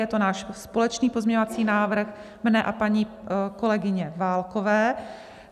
Je to náš společný pozměňovací návrh, mne a paní kolegyně Válkové.